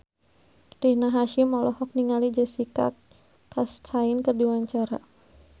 Rina Hasyim olohok ningali Jessica Chastain keur diwawancara